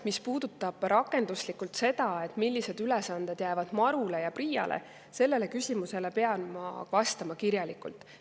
Mis puudutab rakenduslikult seda, millised ülesanded täpselt jäävad MaRu‑le ja PRIA‑le, siis sellele küsimusele pean ma vastama kirjalikult.